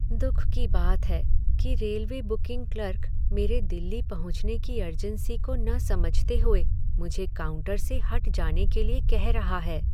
दुख की बात है कि रेलवे बुकिंग क्लर्क मेरे दिल्ली पहुँचने की अर्जेंसी को न समझते हुए मुझे काउंटर से हट जाने के लिए कह रहा है।